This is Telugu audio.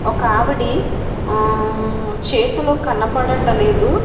ఒకావిడి ఆమ్ చేతులు కనపడట లేదు.